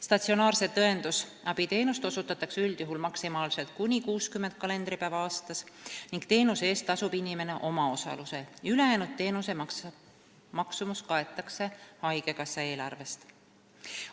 Statsionaarset õendusabiteenust osutatakse üldjuhul maksimaalselt kuni 60 kalendripäeva aastas ning teenuse eest tasub inimene omaosalusel, ülejäänud teenuse maksumus kaetakse haigekassa eelarvest.